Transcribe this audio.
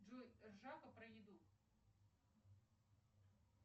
джой ржака про еду